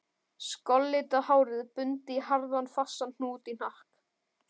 Skollitað hárið bundið í harðan, fastan hnút í hnakk